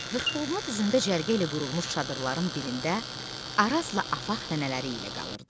Qırxboğumlu düzəmdə cərgə ilə qurulmuş çadırların birində Arazla Afaq nənələri ilə qalırdı.